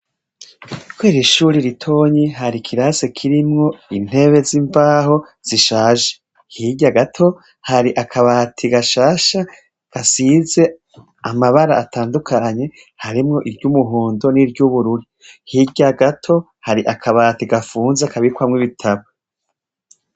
Kw'ishure ritoyi hari ikirasi kirimwo intebe zimbaho zishaje .Hirya gato hari akabati gashasha hasize amabara atandukanye harimwo iry'umuhondo, niryubururu ,hirya gato hari akabati gafunze kabikwamwo ibitabu .